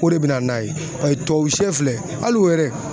O de bɛ na n'a ye paseke tubabusɛ filɛ hali o yɛrɛ